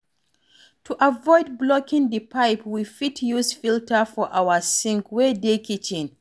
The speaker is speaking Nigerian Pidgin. To avoid blocking di pipe we fit use filter for our sink wey dey kitchen